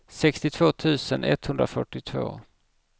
sextiotvå tusen etthundrafyrtiotvå